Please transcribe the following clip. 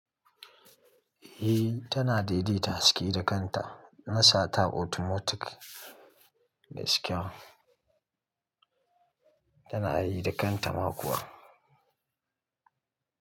Eh tana daidaita haske da kanta. Na sata automatic gaskiya tana yi da kanta ma kuwa.